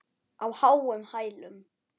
Á háum hælum.